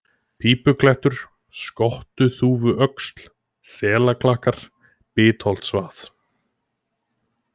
Pípuklettur, Skottuþúfuöxl, Selaklakkar, Bitholtsvað